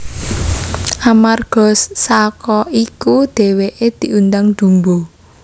Amarga saka iku dhèwèké diundang Dumbo